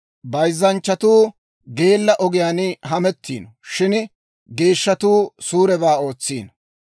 Bayzzanchchatuu geella ogiyaan hamettiino; shin geeshshatuu suurebaa ootsiino.